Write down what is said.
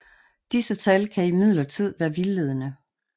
Disse tal kan imidlertid være vildledende